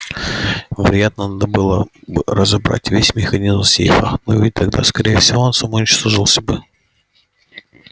вероятно надо было бы разобрать весь механизм сейфа но ведь тогда скорее всего он самоуничтожился бы